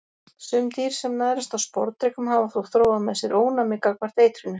Sum dýr sem nærast á sporðdrekum hafa þó þróað með sér ónæmi gagnvart eitrinu.